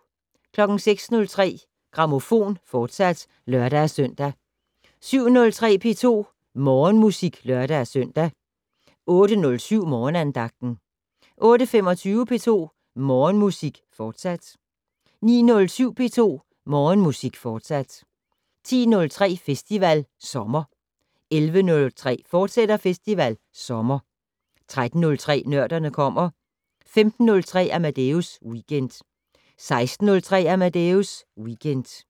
06:03: Grammofon, fortsat (lør-søn) 07:03: P2 Morgenmusik (lør-søn) 08:07: Morgenandagten 08:25: P2 Morgenmusik, fortsat 09:07: P2 Morgenmusik, fortsat 10:03: Festival Sommer 11:03: Festival Sommer, fortsat 13:03: Nørderne kommer 15:03: Amadeus Weekend 16:03: Amadeus Weekend